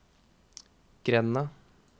grenda